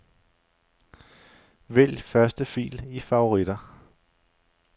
Vælg første fil i favoritter.